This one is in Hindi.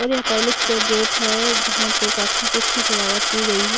और ये पैलेस का गेट है जहां पर काफी अच्छी सजावट की गई है।